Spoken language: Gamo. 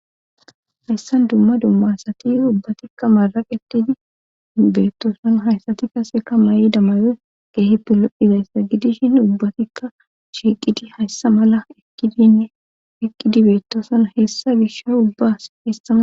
Hayssan dumma dummasati ubbatikka maraq eqqidi beettooson hayssati kaseka ma7i damayoy geehipilopphidayssa gidishin ubbatikka shiiqidi hayssa mala idineqqidi beettooson hessa gisha ubbas hessaa